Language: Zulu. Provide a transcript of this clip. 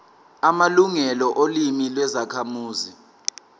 amalungelo olimi lwezakhamuzi